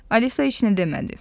Alisa heç nə demədi.